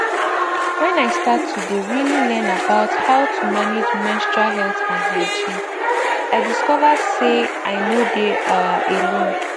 when i start to dey really learn about how to manage menstrual health and hygiene i discover say i nor dey um alone